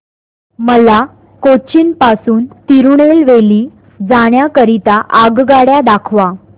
मला कोचीन पासून तिरूनेलवेली जाण्या करीता आगगाड्या दाखवा